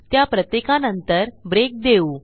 त्या प्रत्येकानंतर ब्रेक देऊ